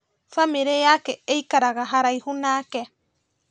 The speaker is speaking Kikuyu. Bamĩrĩ yake ĩikaraga haraihu nake